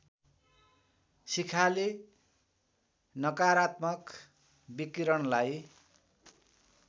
शिखाले नकारात्मक विकिरणलाई